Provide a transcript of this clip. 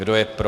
Kdo je pro?